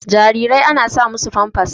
Jarirai ana sa musu Famfas